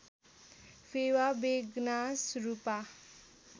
Phewa Begnas Rupa